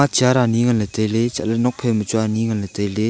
chair ani ngan ley tai ley chat ley nuak phai ma chu ani ngan ley tai ley.